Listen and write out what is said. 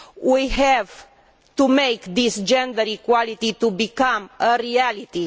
We have to make this gender equality become a reality.